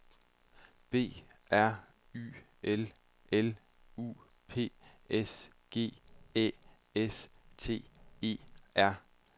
B R Y L L U P S G Æ S T E R